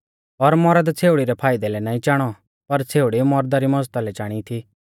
और मौरद छ़ेउड़ी रै फाइदै लै नाईं चाणौ पर छ़ेउड़ी मौरदा री मज़दा लै चाणी थी